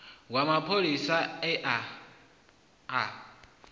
wa mapholisa a ye a